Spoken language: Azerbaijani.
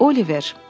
Oliver.